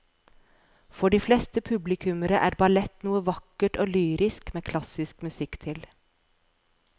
For de fleste publikummere er ballett noe vakkert og lyrisk med klassisk musikk til.